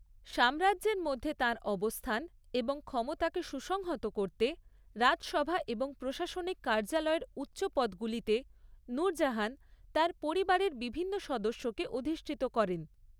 সাম্রাজ্যের মধ্যে তাঁর অবস্থান এবং ক্ষমতাকে সুসংহত করতে, রাজসভা এবং প্রশাসনিক কার্যালয়ের উচ্চ পদগুলিতে নূরজাহান তাঁর পরিবারের বিভিন্ন সদস্যকে অধিষ্ঠিত করেন।